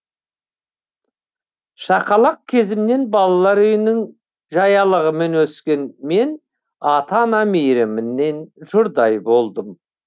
шақалақ кезімнен балалар үйінің жаялығымен өскен мен ата ана мейрімінен жұрдай болдым